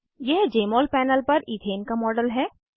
यह जमोल पैनल पर इथेन का मॉडल है